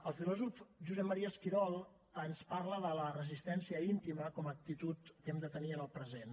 el filòsof josep maria esquirol ens parla de la resistència íntima com a actitud que hem de tenir en el present